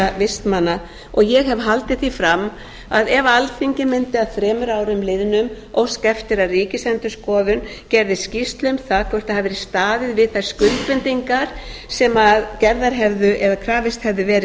vistmanna og ég hef haldið því fram að ef alþingi mundi að þremur árum liðnum óska eftir að ríkisendurskoðun gerði skýrslu um það hvort það hafi verið staðið við þær skuldbindingar sem krafist hefði verið